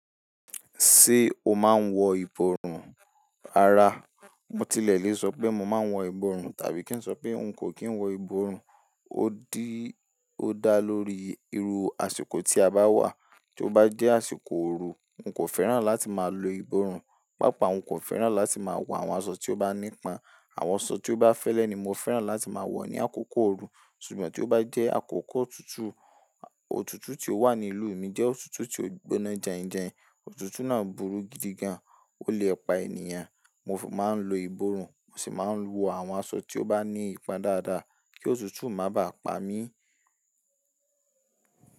Ṣé o máa ń wọ ìborùn? Rárá, mo tilẹ̀ lè sọ pé mo máa wọ ìborùn tàbí kí n sọ pé n kò kí n wọ ìborùn. Ó dá lórí irú àsìkò tí a bá wà. Tí ó bá jẹ́ àsìkò ooru, n kò fẹ́ràn láti máa lo ìborùn. Pàápàá n kò fẹ́ràn láti máa wọ àwọn aṣọ tí ó bá ní pon Àwọn aṣọ tí ó bá fẹ́lẹ́ ni mo fẹ́ràn láti máa wọ ní àkókò ooru. Ṣùgbọ́n tí ó bá jẹ́ àkókò òtútù, òtútù tí ó wà ní ìlú mi jẹ́ òtútù tí ó gbóná jàinjàin. Òtútù náà burú gidi gan, ó lè pa ènìyàn. Mo máa ń lo ìborùn, mo sì máa ń wọ àwọn aṣọ tí ó bá ní ipon dáadáa kí òtútù má bà pa mi.